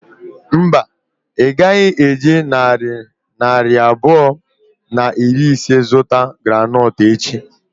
Mba, ị gaghị eji narị naira abụọ na iri ise zụta groundnut echi.